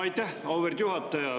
Aitäh, auväärt juhataja!